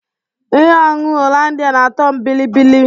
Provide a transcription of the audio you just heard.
Ihe ọñụñụ hollandịa na-atọ m biribiri.